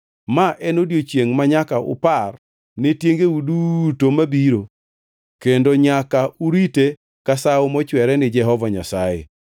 “Ma en odiechiengʼ manyaka upar ne tiengeu duto mabiro kendo nyaka urite ka sawo mochwere ni Jehova Nyasaye.